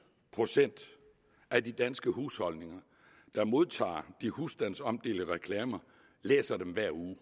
procent af de danske husholdninger der modtager de husstandsomdelte reklamer læser dem hver uge vi